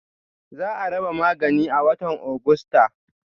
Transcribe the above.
Za a raba maganin a watan Agusta.